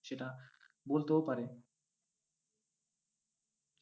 সেটা, বলতেও পারে।